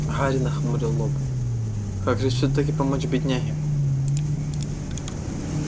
гарри нахмурил лоб как же всё-таки помочь бедняге